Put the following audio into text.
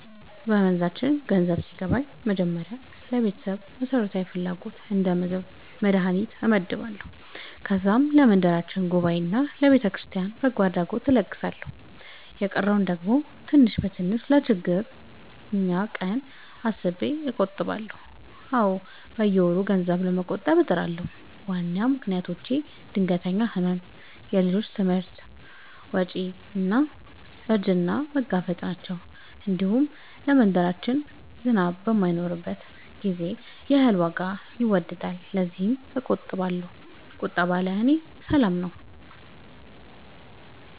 በመንዛችን ገንዘብ ሲገባኝ በመጀመሪያ ለቤተሰብ መሠረታዊ ፍላጎት እንደ ምግብና መድሀኒት እመድባለሁ። ከዛም ለመንደራችን ጉባኤና ለቤተክርስቲያን በጎ አድራጎት እለግሳለሁ። የቀረውን ደግሞ ትንሽ በትንሽ ለችግረኛ ቀን አስቤ እቆጥባለሁ። አዎ፣ በየወሩ ገንዘብ ለመቆጠብ እጥራለሁ። ዋና ምክንያቶቼ ድንገተኛ ሕመም፣ የልጆች ትምህርት ወጪ እና እርጅናን መጋፈጥ ናቸው። እንዲሁም ለመንደራችን ዝናብ በማይኖርበት ጊዜ የእህል ዋጋ ይወገሳልና ለዚያም እቆጥባለሁ። ቁጠባ ለእኔ ሰላም ነው።